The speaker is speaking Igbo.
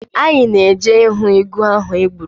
Anyị na-eje ahụ ịgụ ha gbụrụ.